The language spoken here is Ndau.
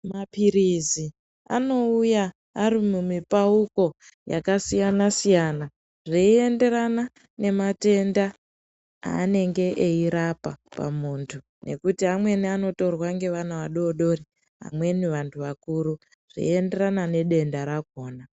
Maphirizi anouya ari mumipauko yakasiyana siyana, zveienderana nematenda aanenge eirapa pamuntu, ngekuti amweni anotorwa ngevana adodori, amweni vantu vakuru , zveienderana nedenda rakhona.